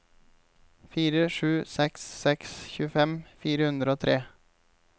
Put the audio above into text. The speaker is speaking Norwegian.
fire sju seks seks tjuefem fire hundre og tre